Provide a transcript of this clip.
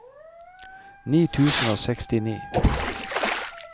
ni tusen og sekstini